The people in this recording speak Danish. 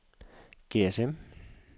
GSM